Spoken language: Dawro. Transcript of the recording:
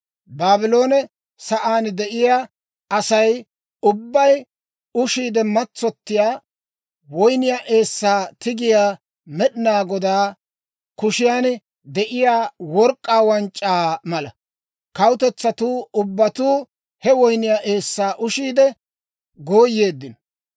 Baabloone sa'aan de'iyaa Asay ubbay ushiide matsottiyaa woyniyaa eessay tigettiyaa, Med'inaa Godaa kushiyan de'iyaa work'k'aa wanc'c'aa mala. Kawutetsatuu ubbatuu he woyniyaa eessaa ushiide gooyeeddino.